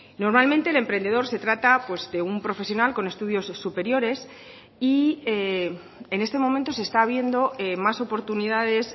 normalmente el emprendedor se trata de un profesional con estudios superiores y en este momento se está viendo más oportunidades